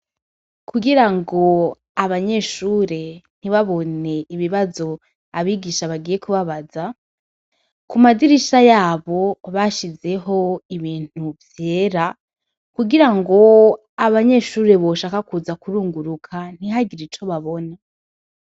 Kugirango abanyeshure ntibabone ibibazo abigisha bagiye kubabaza, ku madirisha yabo bashizeho ibintu vyera, kugirango abanyeshure boshaka kuza kurunguruka ntihagire ico babona.